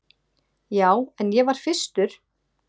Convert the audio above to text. Já, en ég var fyrstur.